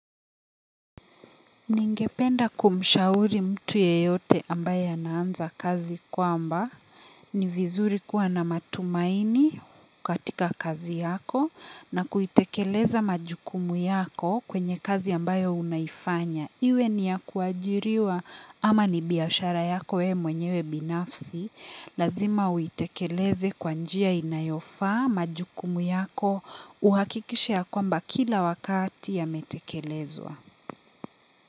Ningependa kumshauri mtu yeyote ambaye ana anza kazi kwamba, ni vizuri kuwa na matumaini katika kazi yako na kuitekeleza majukumu yako kwenye kazi ambayo unaifanya. Iwe ni ya kuajiriwa ama ni biashara yako wewe mwenyewe binafsi, lazima uitekeleze kwa njia inayofa majukumu yako uhakikishe ya kwamba kila wakati yametekelezwa.